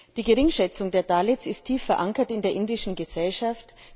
Die Geringschätzung der Dalits ist tief verankert in der indischen Gesellschaft.